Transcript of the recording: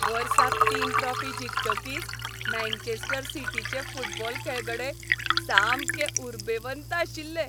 वर्साक तीन ट्रॉफी जिखतकीच मँचेस्टर सिटीचे फुटबॉल खेळगडे सामके उरबेवंत आशिल्ले.